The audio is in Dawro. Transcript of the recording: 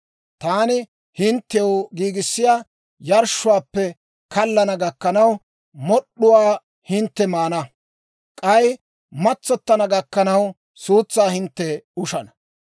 Taani hinttew giigissiyaa yarshshuwaappe kallana gakkanaw, mod'd'uwaa hintte maana; k'ay matsottana gakkanaw, suutsaa hintte ushana.